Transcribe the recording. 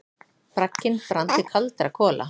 Bragginn brann til kaldra kola.